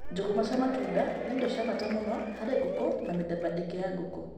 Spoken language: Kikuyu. Njũgũma cia matunda nĩ indo cia bata mũno harĩ ngũkũ na mĩthemba ĩngĩ ya ngũkũ.